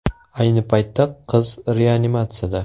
Ayni paytda qiz reanimatsiyada.